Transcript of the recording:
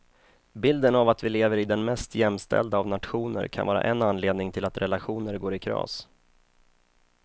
Bilden av att vi lever i den mest jämställda av nationer kan vara en anledning till att relationer går i kras.